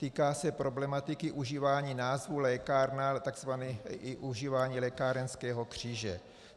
Týká se problematiky užívání názvu lékárna i užívání lékárenského kříže.